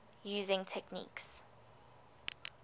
using techniques